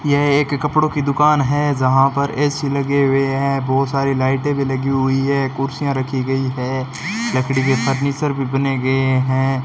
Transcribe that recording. यह एक कपड़ों की दुकान है जहां पर ए_सी लगे हुए हैं बहुत सारे लाइटें भी लगी हुई है कुर्सियां रखी गई है लकड़ी के फर्नीचर भी बने गए हैं।